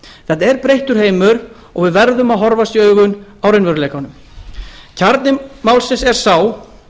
þetta er breyttur heimur og við verðum að horfast í augu við raunveruleikann kjarni málsins er sá